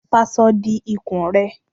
Faṣọ di ikùn ẹ!